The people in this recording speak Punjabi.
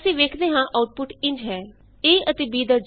ਅਸੀਂ ਵੇਖਦੇ ਹਾਂ ਆਉਟਪੁਟ ਇੰਝ ਹੈ a ਅਤੇ b ਦਾ ਜੋੜ 8 ਹੈ